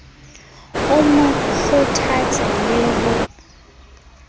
o mo kgothatse le ho